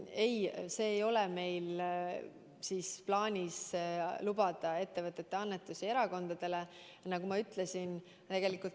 Ei, meil ei ole plaanis lubada ettevõtete annetusi erakondadele, nagu ma juba ütlesin.